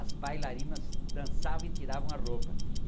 As bailarinas dançavam e tiravam a roupa.